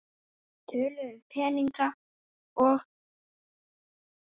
Þeir töluðu um peninga og